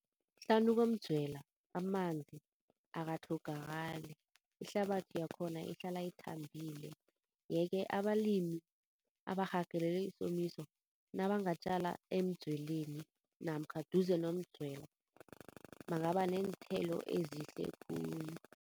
Hlanu komdzwela, amanzi akatlhogakali, ihlabathi yakhona ihlala ithambile. Yeke abalimi abarhagalelwe yisomiso, nabangatjala emdzweleni namkha duze nomdzwela bangaba neenthelo ezihle khulu.